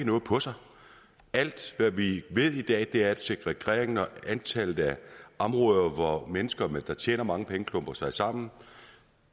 noget på sig alt hvad vi ved i dag er at segregeringen og antallet af områder hvor mennesker der tjener mange penge klumper sig sammen